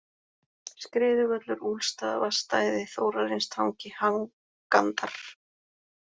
Skriðuvöllur, Úlfstaðavatnsstæði, Þórarinstangi, Hangandar